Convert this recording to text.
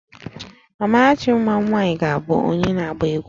Amarachi nwa m nwaanyị ga-abụ onye na-agba egwu